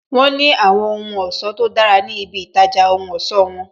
Wọn ní àwọn ohun ọ̀sọ́ tó dára ní ibi itaja ohun ọ̀sọ́ won